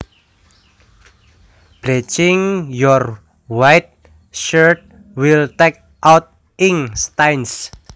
Bleaching your white shirts will take out ink stains